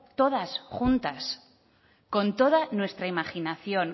todas juntas con toda nuestra imaginación